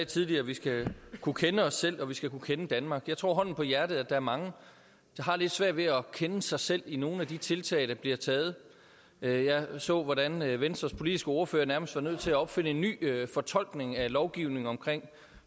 tidligere at vi skal kunne kende os selv og at vi skal kunne kende danmark jeg tror hånden på hjertet at der er mange der har lidt svært ved at kende sig selv i nogle af de tiltag der bliver taget jeg så hvordan venstres politiske ordfører nærmest var nødt til at opfinde en ny fortolkning af lovgivningen om